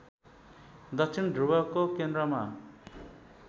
दक्षिण ध्रुवको केन्द्रमा